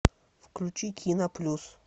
включи кино плюс